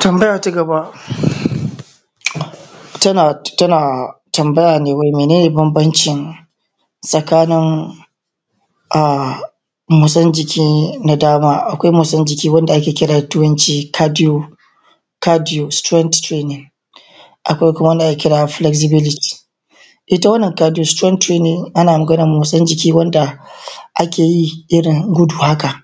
Tambaya ta gaba, tana, tana tambaya ne wai mene ne bambancin um tsakanin motsin jiki na dama? Akwai motsin wanda ake kira da turanci cadio, cadiostrain, akwai kuma wanda ake kira flexibility. Ita wannan cadiostrain training ana maganan matsin jiki wanda ake yi irin gudu haka,